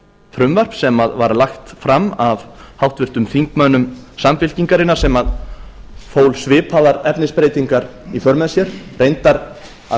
frumvarp sem var lagt fram af háttvirtum þingmönnum samfylkingarinnar sem fól svipaðar efnisbreytingar í för með sér reyndar að